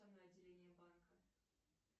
отделение банка